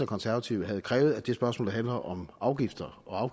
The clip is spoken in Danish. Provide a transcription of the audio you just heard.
konservative havde krævet at det spørgsmål der handler om afgifter og